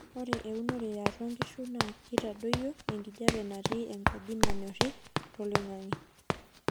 ore eurono eatua nkishu naa keitadoyio enkijape natii enkaji nanyori toloingangi